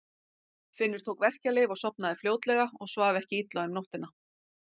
Finnur tók verkjalyf og sofnaði fljótlega og svaf ekki illa um nóttina.